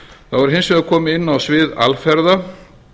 þá er hins vegar komið inn á svið alferða